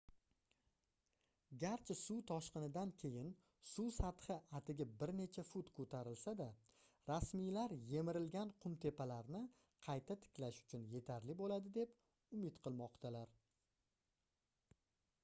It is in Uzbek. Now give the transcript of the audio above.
garchi suv toshqinidan keyin suv sathi atigi bir necha fut koʻtarilsa-da rasmiylar yemirilgan qumtepalarni qayta tiklash uchun yetarli boʻladi deb umid qilmoqdalar